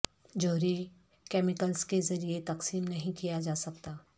جوہری کیمیکلز کے ذریعے تقسیم نہیں کیا جا سکتا